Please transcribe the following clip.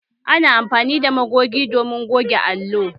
Ana amfanin da Magogi domin goge allo